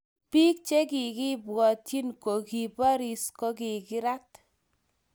pik che kikibwatiny kokibaris kokikirat